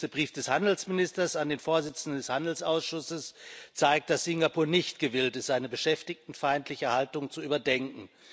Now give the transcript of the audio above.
Auch der jüngste Brief des Handelsministers an den Vorsitzenden des Handelsausschusses zeigt, dass Singapur nicht gewillt ist, seine beschäftigtenfeindliche Haltung zu überdenken.